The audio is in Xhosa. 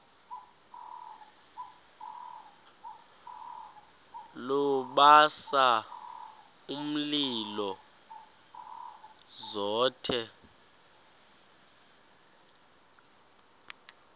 lubasa umlilo zothe